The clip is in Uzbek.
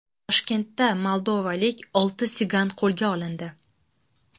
Toshkentda moldovalik olti sigan qo‘lga olindi.